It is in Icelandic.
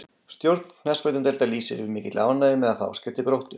Stjórn knattspyrnudeildar lýsir yfir mikilli ánægju með að fá Ásgeir til Gróttu.